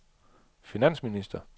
finansminister